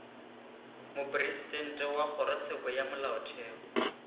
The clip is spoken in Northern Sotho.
mopresidente wa kgorotsheko ya molaotheo